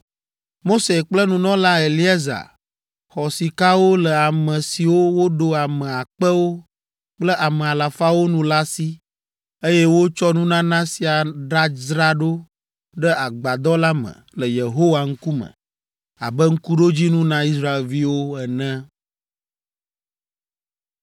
Mose kple nunɔla Eleaza xɔ sikawo le ame siwo woɖo ame akpewo kple ame alafawo nu la si eye wotsɔ nunana sia ɖadzra ɖo ɖe agbadɔ la me le Yehowa ŋkume abe ŋkuɖodzinu na Israelviwo ene.